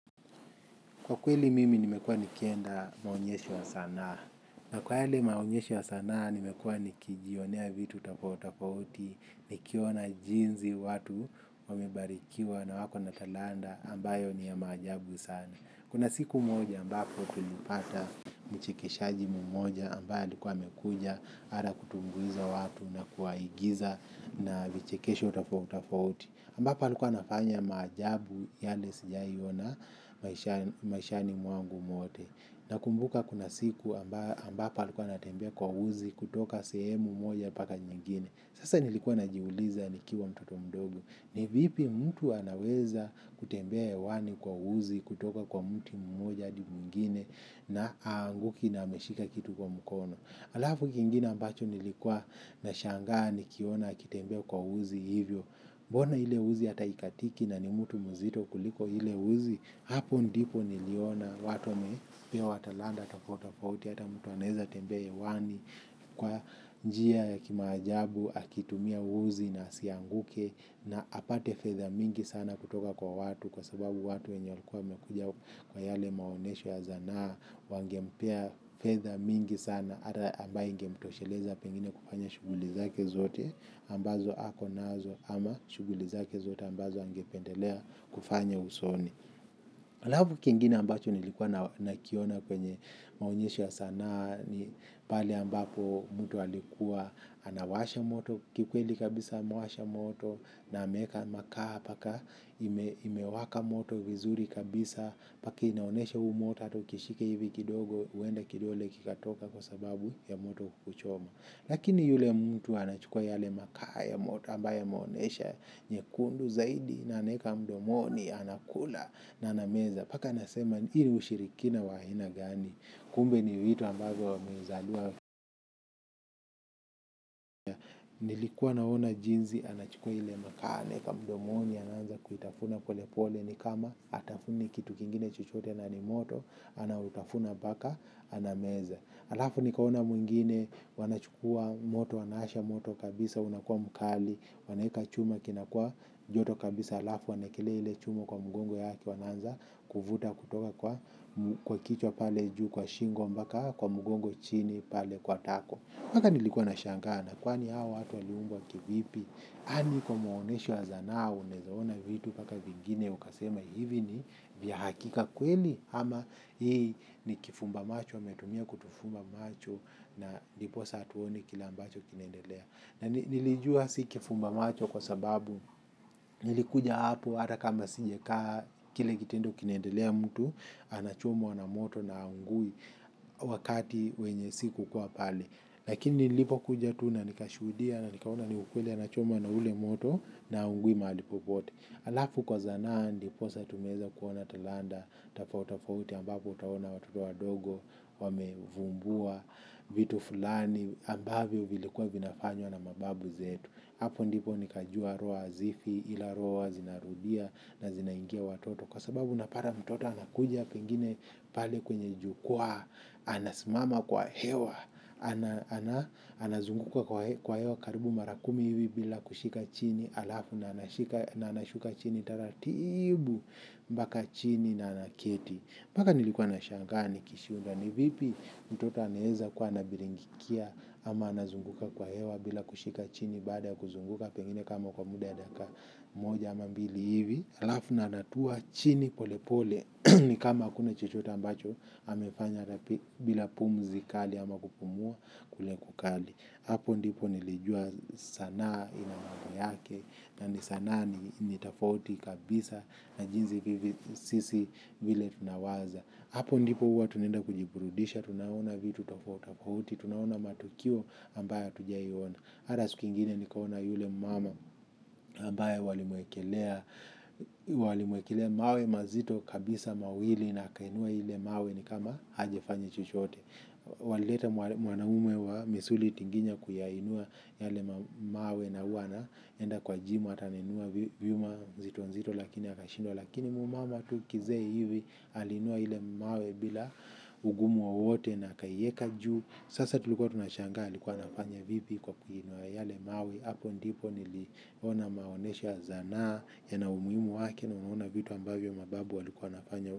Kwa kweli mimi nimekuwa nikienda maonyesho ya sanaa. Na kwa yale maonyesho ya sanaa nimekua nikijionea vitu tofauti tofauti nikiona jinsi watu wamebarikiwa na wako na talanta ambayo ni ya maajabu sana. Kuna siku moja ambapo tulipata mchekeshaji mmoja ambaye alikuwa amekuja, mara kutumbuiza watu na kuwaigiza na vichekesho tofauti tofauti. Ambapo alikua anafanya maajabu yale sijawahi ona maishani mwangu mwote nakumbuka kuna siku ambapo alikua anatembea kwa uzi kutoka sehemu moja mpaka nyengine sasa nilikuwa najiuliza nikiwa mtoto mdogo ni vipi mtu anaweza kutembea hewani kwa uzi kutoka kwa mti mmoja adi mwingine. Na haanguki na ameshika kitu kwa mkono alafu kingine ambacho nilikuwa nashangaa nikiona akitembea kwa uzi hivyo. Mbona ile uzi ata haikatiki na ni mtu mzito kuliko ile uzi hapo ndipo niliona watu wamepewa talanta tofauti tofautii ata mtu anaeza tembea hewani. Kwa njia ya kimaajabu akitumia uzi na asianguke na apate fedha mingi sana kutoka kwa watu kwa sababu watu wenye walikuwa wamekuja kwa yale maonyesho ya sanaa wangempea fedha mingi sana ata ambayo ingemtosheleza pengine kufanya shughuli zake zote ambazo hako nazo ama shughuli zake zote ambazo angependelea kufanya usoni. Alafu kingine ambacho nilikua nakiona kwenye maonyesho sanaa, ni pale ambapo mtu alikuwa anawasha moto kikweli kabisa amewasha moto na ameeka makaa mpaka imewaka moto vizuri kabisa mpaka inaonyesha huu moto ata ukishika hivi kidogo uenda kidole kikatoka kwa sababu ya moto kuchoma. Lakini yule mtu anachukua yale makaa ya moto ambaye yameonyesha nyekundu zaidi na anaeka mdomoni anakula na anameza. Mpaka nasema hii ni ushirikina wa aina gani. Kumbe ni vitu ambavyo wamezaliwa. Nilikuwa naona jinsi anachukua ile makaa anaeka mdomoni anaanza kuitafuna pole pole ni kama hatafuni kitu kingine chochote na ni moto. Anautafuna mpaka anameza. Alafu nikaona mwingine wanachukua moto wanawasha moto kabisa unakua mkali. Wanaeka chuma kinakua joto kabisa alafu wanaekelea ile chuma kwa mgongo yake wanaanza kuvuta kutoka kwa kichwa pale juu kwa shingo mpaka kwa mgongo chini pale kwa tako mpaka nilikua nashangaa, na kwani hawa watu waliumbwa kivipi? Yaani kwa maonyesho ya sanaa unaeza ona vitu mpaka vingine ukasema hivi ni vya hakika kweli ama hii ni kifumba macho wametumia kutufumba macho na ndiposa hatuoni kile ambacho kinaendelea. Na nilijua si kifumba macho kwa sababu nilikuja hapo ata kama sijakaa kile kitendo kinaendelea mtu anachomwa na moto na hahungui wakati wenye sikukua pale. Lakini nilipo kuja tu na nikashuhudia na nikaona ni ukweli anachomwa na ule moto na haungui mahali popote. Alafu kwa sanaa ndiposa tumeeza kuona talanta, tofauti tofauti ambapo utaona watoto wadogo, wamevumbua, vitu fulani, ambavyo vilikuwa vinafanywa na mababu zetu. Hapo ndipo nikajua roho hazifi, ila roho huwa zinarudia na zinaingia watoto. Kwa sababu unapata mtoto anakuja pengine pale kwenye jukua, anasimama kwa hewa, anazunguka kwa hewa karibu mara kumi hivi bila kushika chini alafu anashuka chini taratibu mpaka chini na anaketi. Mpaka nilikuwa na shangaa nikishindwa ni vipi mtoto anaeza kuwa anabingilikia ama anazunguka kwa hewa bila kushika chini baada ya kuzunguka pengine kama kwa muda ya dakika moja ama mbili hivi. Alafu na anatua chini pole pole ni kama hakuna chochote ambacho amefanya. Bila pumzi kali ama kupumua kule kukali, hapo ndipo nilijua sanaa ina mambo yake yaani sanaa. Ni tofauti kabisa na jinsi sisi vile tunawaza hapo ndipo huwa tunaenda kujiburudisha tunaona vitu tofauti tofauti, tunaona matukio ambayo hatujawahi ona, ata siku ingine nikaona yule mama ambaye walimwekelea mawe mazito kabisa mawili na akainua ile mawe ni kama hajafanya chochote. Walileta mwanaume wa misuli tinginya kuyainua yale mawe na huwa anaenda kwa jimu ata anainua vyuma nzito nzito lakini akashindwa lakini mumama tu kizee hivi aliinua ile mawe bila ungumu wowote na akaiyeka juu sasa tulikua tunashangaa alikua anafanya vipi kwa kuinwa yale mawe hapo ndipo kuona maonyesho ya sanaa yana umuhimu wake, nimeona vitu ambavyo mababu walikua wanafanya huko.